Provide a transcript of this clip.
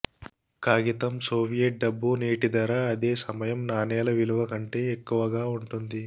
కాగితం సోవియట్ డబ్బు నేటి ధర అదే సమయం నాణేల విలువ కంటే ఎక్కువగా ఉంటుంది